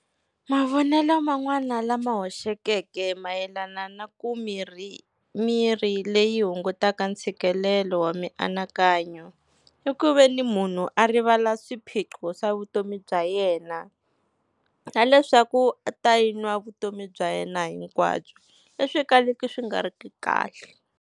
Mavonelo man'wana lama hoxekeke mayelana na ku mirhi, mirhi leyi hungutaka ntshikelelo wa mianakanyo i ku veni munhu a rivala swiphiqo swa vutomi bya yena, na leswaku a ta yi nwa vutomi bya yena hinkwabyo leswi kalaka swi nga riki kahle.